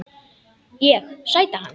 Ég: Sæta hans.